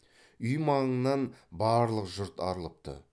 үй маңынан барлық жұрт арылыпты